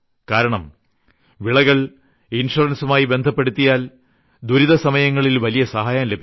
കാരണം വിളവകളെ ഇൻഷുറൻസുമായി ബന്ധപ്പെടുത്തിയാൽ ദുരിതസമയങ്ങളിൽ വലിയ സഹായം ലഭിക്കും